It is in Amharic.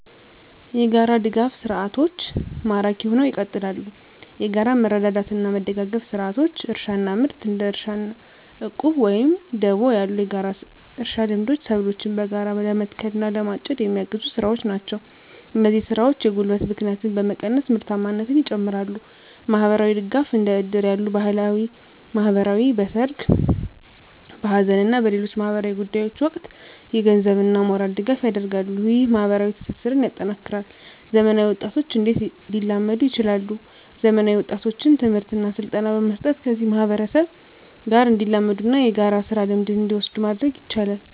**የጋራ ድጋፍ ሰርዓቶች ማራኪ ሁነው ይቀጥላሉ፤ የጋራ መረዳዳትና መደጋገፍ ስርዓቶች: * እርሻና ምርት: እንደ እርሻ ዕቁብ ወይም ደቦ ያሉ የጋራ እርሻ ልምዶች ሰብሎችን በጋራ ለመትከል እና ለማጨድ የሚያግዙ ስራዎች ናቸው። እነዚህ ስራዎች የጉልበት ብክነትን በመቀነስ ምርታማነትን ይጨምራሉ። * ማህበራዊ ድጋፍ: እንደ እድር ያሉ ባህላዊ ማህበራት በሠርግ፣ በሐዘን እና በሌሎች ማኅበራዊ ጉዳዮች ወቅት የገንዘብና የሞራል ድጋፍ ያደርጋሉ። ይህ ማኅበራዊ ትስስርን ያጠናክራል። *ዘመናዊ ወጣቶች እንዴት ሊላመዱ ይችላሉ፤ ዘመናዊ ወጣቶችን ትምህርትና ስልጠና በመስጠት ከዚህ ማህበረሰብ ጋር እንዲላመዱና የጋራ ስራ ልምድን እንዲወስዱ ማድረግ ይቻላል።